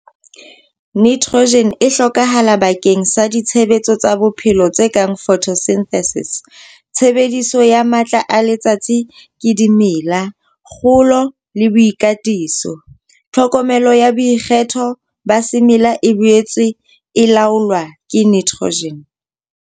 Nitrogen e hlokahala bakeng sa ditshebetso tsa bophelo tse kang photosynthesis tshebediso ya matla a letsatsi ke dimela, kgolo le boikatiso. Tlhokomelo ya boikgetho ba semela e boetse e laolwa ke nitrogen.